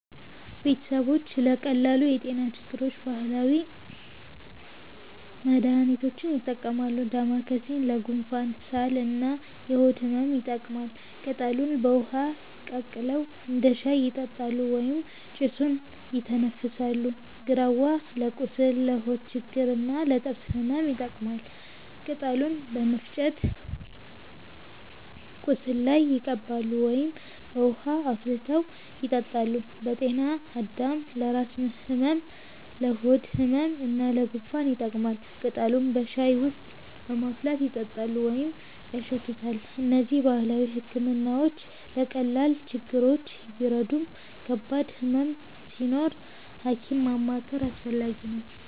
ቤተሰቦች ለቀላል የጤና ችግሮች ባህላዊ መድሃኒቶችን ይጠቀማሉ። ዳማከሴ ለጉንፋን፣ ሳል እና የሆድ ህመም ይጠቅማል። ቅጠሉን በውሃ ቀቅለው እንደ ሻይ ይጠጣሉ ወይም ጭሱን ይተነፍሳሉ። ግራዋ ለቁስል፣ ለሆድ ችግር እና ለጥርስ ህመም ይጠቀማል። ቅጠሉን በመፍጨት ቁስል ላይ ይቀባሉ ወይም በውሃ አፍልተው ይጠጣሉ። ጤናአዳም ለራስ ህመም፣ ለሆድ ህመም እና ለጉንፋን ይጠቅማል። ቅጠሉን በሻይ ውስጥ በማፍላት ይጠጣሉ ወይም ያሸቱታል። እነዚህ ባህላዊ ሕክምናዎች ለቀላል ችግሮች ቢረዱም ከባድ ህመም ሲኖር ሐኪም ማማከር አስፈላጊ ነው።